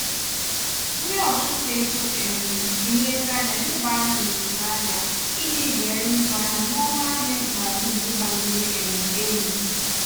ndị ọchụnta ego um ji nlezianya leba anya n'usoro ahịa iji zere ịzụrụ ahịa n'ọnụ ahịa ikpeazụ nke gbaliri um elu.